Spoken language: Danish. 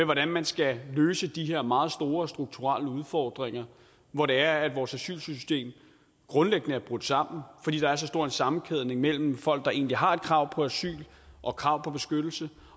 hvordan man skal løse de her meget store og strukturelle udfordringer hvor det er at vores asylsystem grundlæggende er brudt sammen fordi der er så stor en sammenkædning mellem folk der egentlig har krav på asyl og krav på beskyttelse